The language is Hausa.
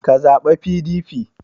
Ka zaɓa PDP!